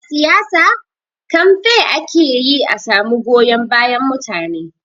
A siyasa, kamfe ake yi a samu goyon bayan mutane.